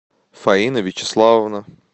фаина вячеславовна